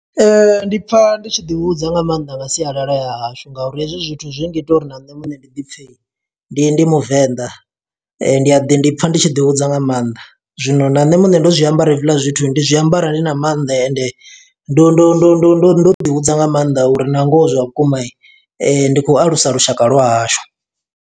Ndi pfa ndi tshi ḓi hudza nga maanḓa nga sialala ya hashu, nga uri hezwi zwithu zwi ngita uri na nṋe muṋe ndi ḓi pfe ndi ndi Muvenḓa. Ndi a ḓi ndi pfa ndi tshi ḓi hudza nga maanḓa. Zwino na nṋe muṋe ndo zwiambara hezwiḽa zwithu, ndi zwiambara ndi na mannḓa, ende ndo ndo ndo ndo ndo ḓi hudza nga maanḓa uri, na ngoho zwa vhukuma ndi khou alusa lushaka lwa hashu.